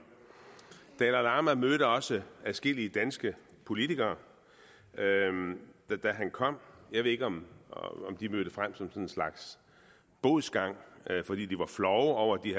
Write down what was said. dalai lama mødte også adskillige danske politikere da han kom jeg ved ikke om de mødte frem i sådan en slags bodsgang fordi de var flove over at de